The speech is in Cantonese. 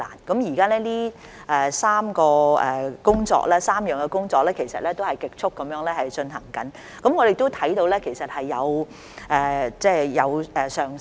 現時這3方面的工作，其實已在極速進行中，我們也看到接種率是有上升的。